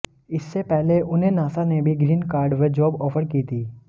इससे पहले उन्हें नासा ने भी ग्रीन कार्ड व जॉब ऑफर की थी